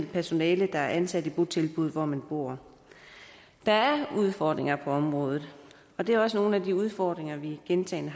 personale der er ansat i botilbuddet hvor man bor der er udfordringer på området og det er også nogle af de udfordringer vi gentagne